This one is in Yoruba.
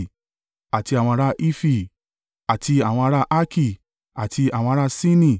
àti àwọn ará Hifi, àti àwọn ará Arki, àti àwọn ará Sini,